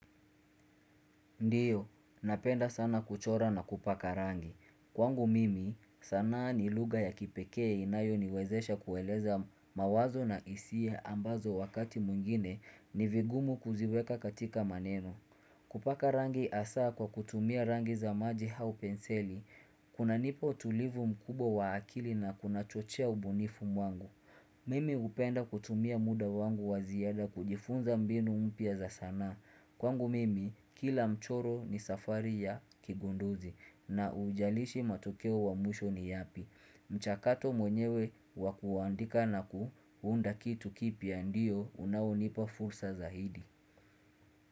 Ndiyo, napenda sana kuchora na kupaka rangi. Kwangu mimi, sanaa ni lugha ya kipekee inayoniwezesha kueleza mawazo na hisia ambazo wakati mwingine ni vigumu kuziweka katika maneno. Kupaka rangi hasaa kwa kutumia rangi za maji au penseli, kunanipa utulivu mkubwa wa akili na kuna chochea ubunifu mwangu. Mimi hupenda kutumia muda wangu wa ziada kujifunza mbinu mpya za sanaa. Kwangu mimi, kila mchoro ni safari ya kigunduzi na ujalishi matokeo wa mwisho ni yapi. Mchakato mwenyewe wakuandika na kuunda kitu kipya ndio unaonipa fursa zaidi.